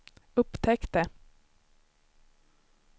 upptäckte